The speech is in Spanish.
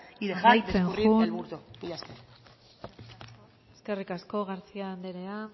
y dejar escurrir el bulto mila esker eskerrik asko garcía anderea